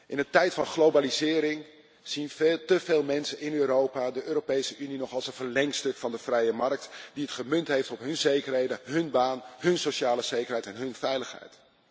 In de tijd van globalisering zien te veel mensen in Europa de Europese Unie nog als een verlengstuk van de vrije markt, die het gemunt heeft op hun zekerheden, hun baan, hun sociale zekerheid en hun veiligheid.